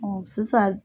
sisan